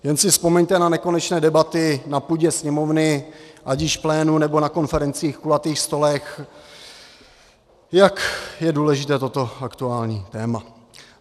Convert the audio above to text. Jen si vzpomeňte na nekonečné debaty na půdě Sněmovny, ať již v plénu, nebo na konferencích, kulatých stolech, jak je důležité toto aktuální téma.